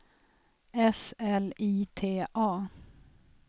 S L I T A